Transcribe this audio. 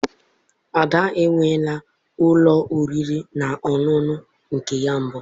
Ada é wụọ laa ụlọ oriri na ọṅụṅụ nke ya na mbụ.